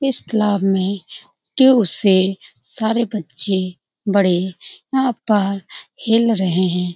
इस क्लाब में दूर से सारे बच्चे बड़े यहाँ पर हिल रहे है।